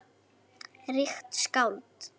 Ríkt skáld!